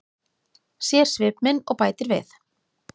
Sér svip minn og bætir við.